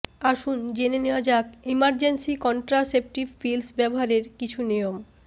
আসুন জেনে নেওয়া যাক ইমারজেন্সি কনট্রাসেপটিভ পিলস ব্যবহারের কিছু নিয়ম